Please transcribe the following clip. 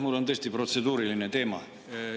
Mul on tõesti protseduuriline teema.